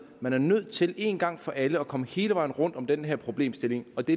man er nødt til en gang for alle at komme hele vejen rundt om den her problemstilling og det